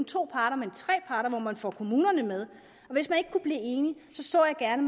to parter men tre parter hvor man får kommunerne med så jeg gerne